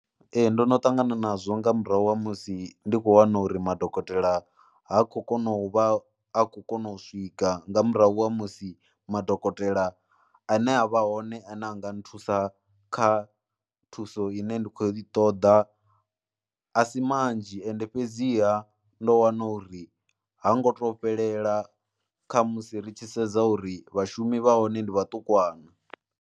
Ee ndono ṱangana nazwo nga murahu ha musi ndi khou wana uri madokotela ha khou kona u vha a khou kona u swika nga murahu ha musi madokotela ane a vha hone ane a nga nthusa kha thuso ine ndi khou i ṱoḓa a si manzhi ende fhedziha ndo wana uri ha ngo to fhelela kha musi ri tshi sedza uri vhashumi vha hone ndi vhaṱukwana.